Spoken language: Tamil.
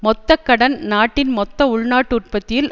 மொத்த கடன் நாட்டின் மொத்த உள்நாட்டு உற்பத்தியில்